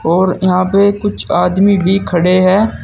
और यहां पे कुछ आदमी भी खड़े हैं।